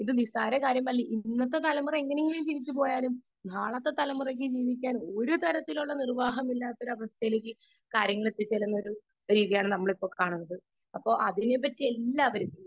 Speaker 2 ഇത് നിസ്സാര കാര്യമല്ല . ഇന്നത്തെ തലമുറ എങ്ങനെയെങ്കിലും ജീവിച്ചു പോയാലും നാളത്തെ തലമുറക്ക് ജീവിക്കാൻ ഒരുതരത്തിലുള്ള നിർവ്വാഹവും ഇല്ലാത്ത അവസ്ഥയിലേക്ക് കാര്യങ്ങൾ എത്തിച്ചേരുന്ന അവസ്ഥയാണ് നമ്മൾ ഇപ്പോൾ കാണുന്നത് അപ്പോൾ അതിനിടക്ക് എല്ലാവരും